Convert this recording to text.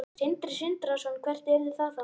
Sindri Sindrason: Hvert yrði það þá?